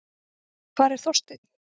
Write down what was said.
Hvar er Þorsteinn?